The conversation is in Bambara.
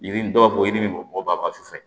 Yirini dɔw ko ye nin bɔ a ka su fɛ